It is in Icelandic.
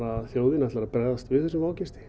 þjóðin ætlar að bregðast við þessum vágesti